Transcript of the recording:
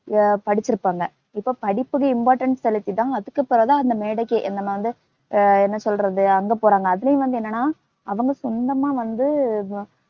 படிச்சிருப்பாங்க இப்ப படிப்புக்கு importance செலுத்திதான், அதுக்கப்புறந்தான் அந்த மேடைக்கு நம்ம வந்து அஹ் என்ன சொல்றது அங்க போறாங்க அதுலயும் வந்து என்னென்னா அவங்க சொந்தமா வந்து